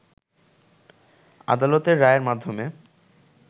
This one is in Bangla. আদালতের রায়ের মাধ্যমে